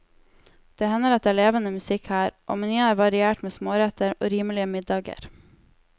Det hender at det er levende musikk her, og menyen er variert med småretter og rimelige middager.